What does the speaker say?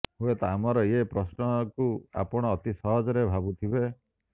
ହୁଏତ ଆମର ଏ ପ୍ରଶ୍ନକୁ ଆପଣ ଅତି ସହଜ ଭାବୁଥିବେ